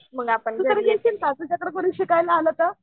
तू कधी देशील का तुझ्याकडं जरी शिकायला आलं तर?